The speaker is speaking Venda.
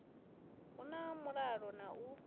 hu na mulalo na u